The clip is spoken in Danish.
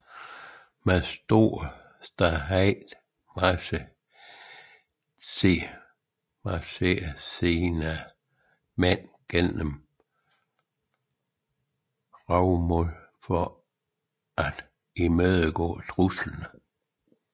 Med stor ståhej marcherede han sine mænd gennem Raymond for at imødegå truslen